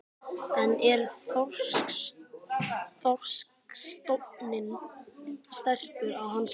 En er þorskstofninn sterkur að hans mati?